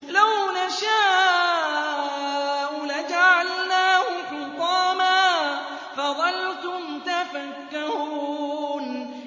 لَوْ نَشَاءُ لَجَعَلْنَاهُ حُطَامًا فَظَلْتُمْ تَفَكَّهُونَ